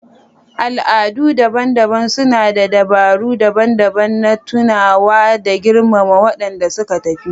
Al'adu daban-daban suna da dabaru daban-daban na tunawa da girmama waɗanda suka tafi.